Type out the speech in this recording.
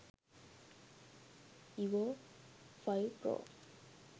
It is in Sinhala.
evo 5 pro